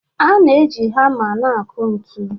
A na-eji hama na-akụ ntu.